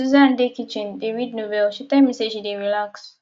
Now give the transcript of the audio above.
susan dey kitchen dey read novel she tell me say she dey relax